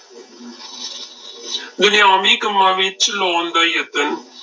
ਦੁਨੀਆਵੀ ਕੰਮਾਂ ਵਿੱਚ ਲਾਉਣ ਦਾ ਯਤਨ,